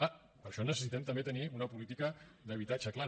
clar per això necessitem també tenir una política d’habitatge clara